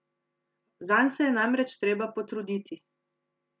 Zanj se je namreč treba potruditi.